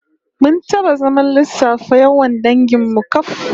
Mun taba zaman lissafa yawan dangin mu kaf